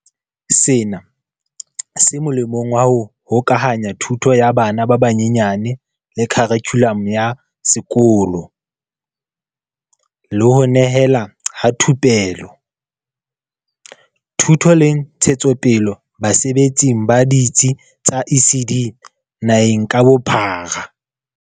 Sena se molemong wa ho hokahanya thuto ya bana ba banyenyane le kharikhulamo ya sekolo, le ho nehelana ka thupelo, thuto le ntshetsopele basebetsing ba ditsi tsa ECD naheng ka bophara.